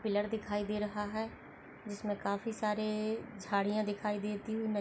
एक पिलर दिखाई दे रहा है जिस मे काफी सारे झाडिया दिखाई देती हुई--